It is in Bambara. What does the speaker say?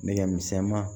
Nɛgɛ misɛnman